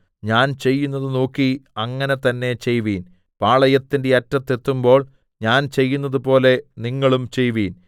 ഞാൻ ചെയ്യുന്നത് നോക്കി അങ്ങനെ തന്നെ ചെയ്‌വിൻ പാളയത്തിന്റെ അറ്റത്തു എത്തുമ്പോൾ ഞാൻ ചെയ്യുന്നതുപോലെ നിങ്ങളും ചെയ്‌വിൻ